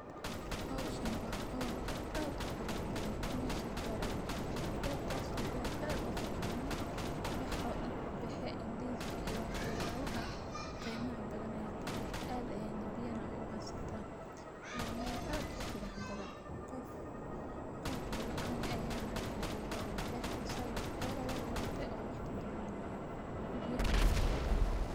Howshan awa howl ad u qurux badhan. Meshan ber ayaa kabaxde , bertas oo ber ad u qurux badhan, wax oo dhan kabexe ndizi iyo waxyalaha qeymaha badhan aa kabexe ad ayay na biya na uhaysatah. Wa mel ad u qurux badhan. Qof bilcan eh ayaa na jogah oo berta zaid u awurte oo wax kaguranayan , biyana way qabtah.